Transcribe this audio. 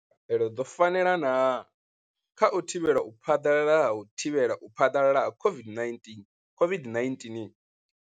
Khaelo dzo fanela na kha u thivhela u phaḓalala ha u thivhela u phaḓalala ha COVID-19, COVID-19.